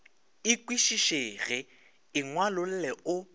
e kwešišege e ngwalolle o